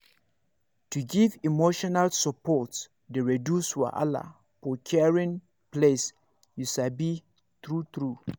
to give emotional support dey reduce wahala for caring place you sabi true true